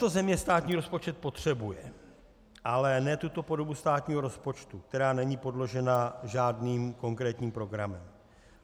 Tato země státní rozpočet potřebuje, ale ne tuto podobu státního rozpočtu, která není podložena žádným konkrétním programem.